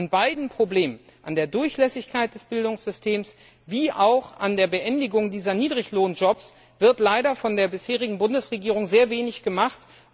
An beiden Problemen, an der Durchlässigkeit des Bildungssystems wie auch an der Beendigung dieser Niedriglohnjobs, wird leider von der bisherigen Bundesregierung sehr wenig gemacht.